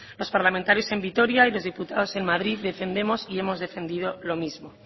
los parlamentarios en vitoria y los diputados en madrid defendemos y hemos defendido lo mismo